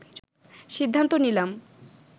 সিদ্ধান্ত নিলাম